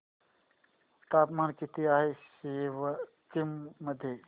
तापमान किती आहे सिक्किम मध्ये